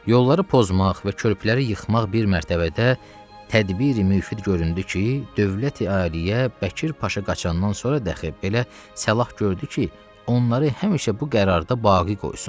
Yolları pozmaq və körpüləri yıxmaq bir mərtəbədə tədbiri-mühid göründü ki, dövləti-aliyyə Bəkir Paşa qaçandan sonra dahi belə səlah gördü ki, onları həmişə bu qərarda baqi qoysun.